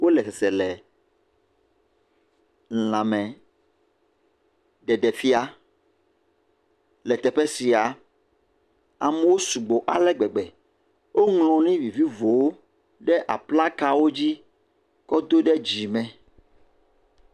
Wole sesele lãme ɖeɖefia le teƒe sia, amewo sugbɔ ale gbegbe. Woŋlɔ nu vilivo ɖe ablaka la dzi kɔ ɖo dzi me.